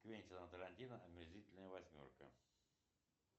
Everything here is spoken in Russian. квентина тарантино омерзительная восьмерка